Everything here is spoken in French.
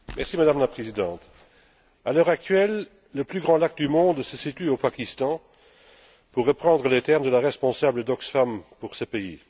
Madame la Présidente, à l'heure actuelle, le plus grand lac du monde se situe au Pakistan, pour reprendre les termes de la responsable d'Oxfam pour ce pays.